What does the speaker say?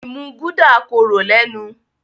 imú Gulder kòrò lénu.